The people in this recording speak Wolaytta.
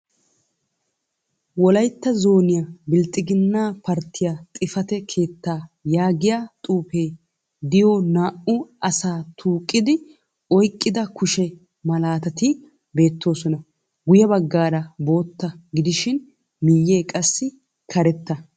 Wolaytta Zooniyaa bilxxigana parttiyaa xifate keettaa yaagiyaa xuufee diyoo naa"u asa tuuqqidi oyqqida kushshe malaatati beetteesona. guye baggay bootta gidishin miyee qassi karetta.